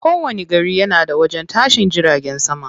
Kowani gari yana da wajen tashin jiragen sama.